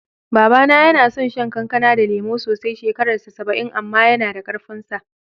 Baba na yana son shan kankana da lemu sosai, shekarar sa saba'in amma yana da ƙarfin sa.